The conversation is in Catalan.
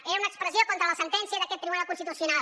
és una expressió contra la sentència d’aquest tribunal constitucional